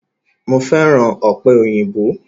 Mo fẹ́ràn ọ̀pẹ̀ òyìnbó